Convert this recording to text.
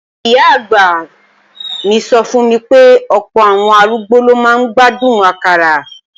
Ìyá-àgbà mi sọ fún mi pé ọ̀pọ̀ àwọn arúgbó ló máa ń gbádùn àkàrà